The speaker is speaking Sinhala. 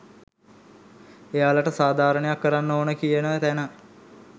එයාලට සාධාරණයක්‌කරන්න ඕන කියන තැන.